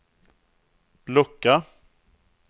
lucka